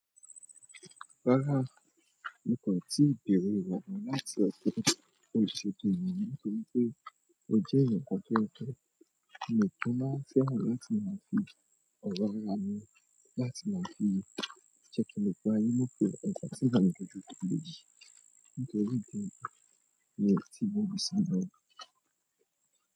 Rárá, mi kò tíì bẹ̀rẹ̀ ìwòran láti ọ̀tẹ̀. Ó ṣètò ènìyàn nítorí pé ó jẹ́ ẹ̀YANkan tó tẹ. Mi ò kí n máa fẹ́ràn láti máa fi ọ̀rọ̀ ra mi láti máa fi sàkiní pé ayé ló pé ẹ̀fa sí ìgbà mìíràn ní ojú ọ̀jọ̀jọ̀. Nitri re ni mo se salo.